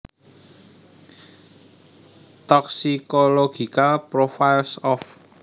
Toxicological profiles of